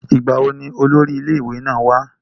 ìgbà wo ni olórí ilé ìwé náà wá?